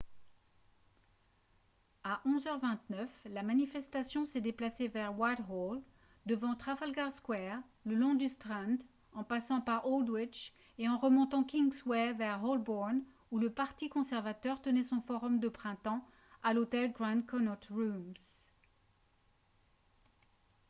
à 11 h 29 la manifestation s'est déplacée vers whitehall devant trafalgar square le long du strand en passant par aldwych et en remontant kingsway vers holborn où le parti conservateur tenait son forum de printemps à l'hôtel grand connaught rooms